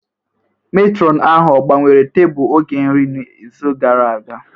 Matron ahụ ọ gbanwere tebụl oge nri n'izu gara aga?